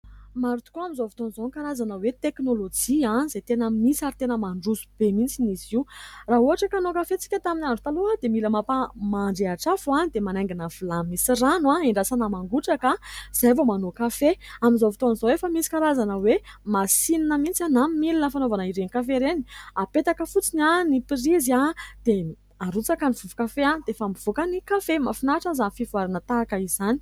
Maro tokoa amin'izao fotoana izao ny karazana hoe teknolojia izay tena misy, ary tena mandroso be mihitsy izy io. Raha ohatra ka hanao kafe isika tamin'ny andro taloha dia mila mampandrehitra afo, dia manaingina vilany misy rano ; andrasana mangotraka, izay vao manao kafe. Amin'izao fotoana izao, efa misy karazana hoe masinina mihitsy na milina fanaovana ireny kafe ireny. Apetaka fotsiny ny prizy dia arotsaka ny vovo- kafe dia efa mivoaka ny kafe. Mahafinaritra ny fivoarana tahaka izany.